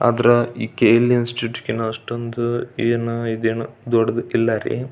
ಆದ್ರೆ ಈ K L institute ಕಿನ್ ಅಷ್ಟೊಂದು ಏನ್ ಇದೇನ್ ದೊಡ್ಡದು ಇಲ್ಲಾರಿ.